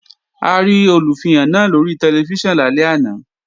A rí Olùfihàn náà lóri tẹlifíṣàn lálẹ́ àná